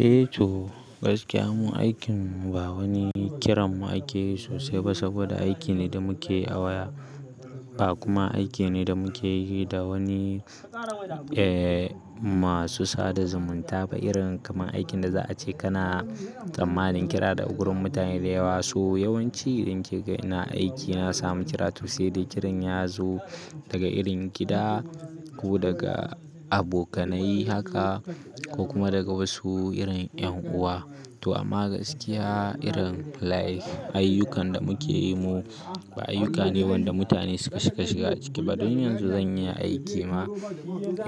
Eh to, gaskiya mu aikin mu ba wani kiran mu akeyi sosai ba saboda aiki ne da muke yi a waya, ba kuma aiki ne da muke yi da wani eh masu sada zumunta ba irin kamar aikin da za a ce kana tsammanin kira daga gurin mutane dayawa. To yawanci idan ki kaga ina aiki na samu kira to saidai kiran ya zo daga irin gida ko daga abokanai haka ko kuma daga wasu irin 'yanuwa. To amma gaskiya irin like ayyukan da muke yi mu ba ayyuka ne wanda mutane suka cika shiga ciki ba. Dun yanzu zan iya aiki ma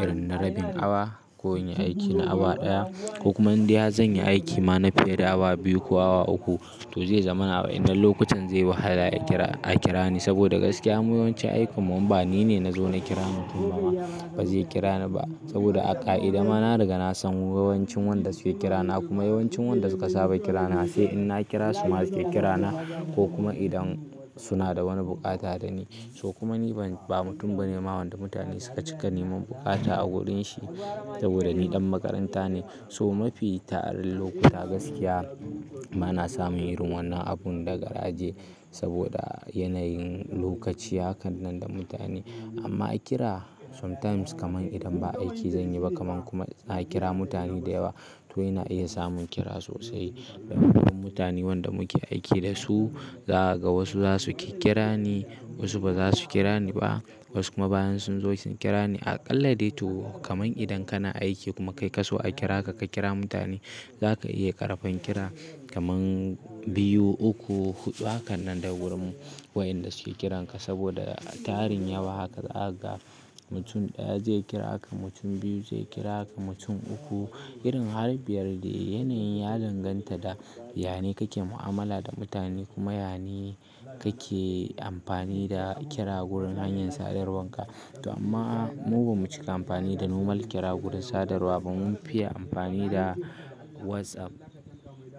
irin na rabin awa ko in yi aiki na awa ɗaya ko kuma indai har zanyi aiki ma na fiye da awa biyu ko awa uku to zai zamana a wa'yannan lokutan zai yi wahala a kira, a kira ni saboda gaskiya yawancin aikin mu inba ni ne na zo na kira mutum ba ba zai kira ni ba saboda aƙa'idai ma na riga na san yawancin wanda suke kira na kuma yawancin wanda suka saba kira na sai in na kira su ma suke kira na ko kuma idan suna da wani buƙata da ni. To kuma ni ban ba mutum bane ma wanda mutane suka cika neman buƙata a gurin shi saboda ni ɗan makaranta ne. So mafi tarar lokuta gaskiya bana samun irin wannan abun da garaje saboda yanayin lokaci hakan nan da mutane amma a kira sometimes kaman idan ba aiki zanyi ba kaman kuma na kira mutane da yawa to ina iya samun kira sosai. Mutane wanda muke aiki da su zaka ga wasu zasu kikkira ni wasu baza su kira ni ba wasu kuma bayan sun zo sun kira ni. Aƙalla dai to kaman idan kana aiki kuma kai kaso a kira ka, ka kira mutane zaka iya karɓan kira kaman biyu, uku, huɗu hakan nan daga gurin wa'yanda suke kiranka saboda tarin yawa haka zakaga mutum ɗaya zai kira ka, mutum biyu zai kira ka, mutum uku irin har biyar dai yanayin ya danganta da yane kake mu'amala da mutane kuma yane kake amfani da kira gurin hanyar sadarwar ka. To amma mu bamu cika amfani da normal kira gurin sadarwa ba mun fiya anfani da whatsapp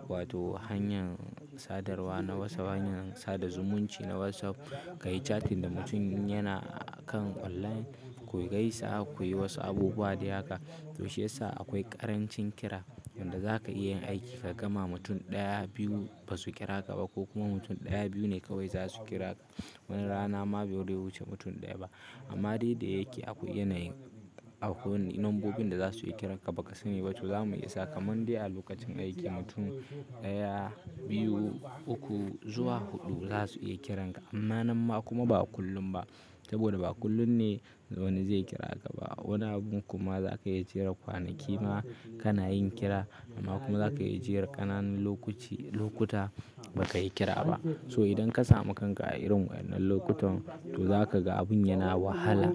wato hanyar sadarwa na whatsapp, hanyar sada zumunci na whatsapp, kayi chatting da mutum in yana kan online ku gaisa kuyi wasu abubuwa dai haka to shiyasa akwai ƙarancin kira wanda za ka iya yin aiki ka gama mutum ɗaya, biyu ba su kira ka ba ko kuma mutum ɗaya, biyu ne kawai zasu kira ka. Wani rana ba bare wuce mutum ɗaya ba amma dai da yake akwai yanayin, nombobin da zasu iya kiran baka sani ba to zamu iya sa kaman dai a lokacin aiki mutum ɗaya, biyu, uku zuwa huɗu zasu iya kiranka inma nan ma kuma ba kullum ba, saboda ba kullum ne wani zai kira ka ba wani abun kuma za ka iya jera kwanaki ma kana yin kira amma kuma za ka iya jera ƙananan lokuci, lokuta ba ka yi kira ba. So idan ka samu kanka a irin wa'yannan lokutan to za ka ga abun yana wahala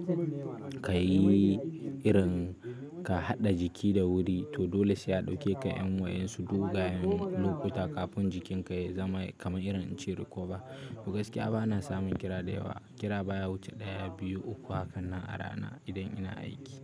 kayi irin ka haɗa jiki da wuri to dole saiya ɗauke ka 'yan wa'yan su dogayen lokuta kafin jikin ka ya zama kamar irin in ce recover. To gaskiya bana samun kira da yawa. Kira baya wuce ɗaya, biyu, uku hakan nan a rana idan ina aiki.